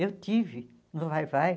Eu tive no Vai-vai.